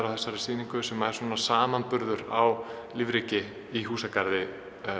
á þessari sýningu sem eru samanburður á lífríki í þessum húsagarði